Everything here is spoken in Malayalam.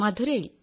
മഥുരയിൽ